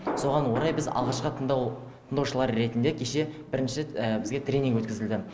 соған орай біз алғашқы тыңдаушылар ретінде кеше бірінші рет бізге тренинг өткізілді